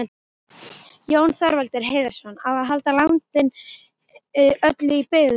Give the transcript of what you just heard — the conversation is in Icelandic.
Jón Þorvaldur Heiðarsson,: Á að halda landinu öllu í byggð?